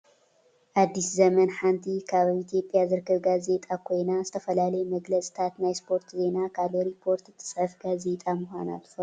ኣዲስ ዘመን ሓንቲ ካብ ኣብ ኢትዮጵያ ዝርከባ ጋዜጣ ኮይና ዝተፈላለዩ መግለፅታትን ናይ ስፖርት ዜናን ካልእ ሪፖርት እትፅሕፍ ጋዜጣ ምኳና ትፈልጡ ዶ ?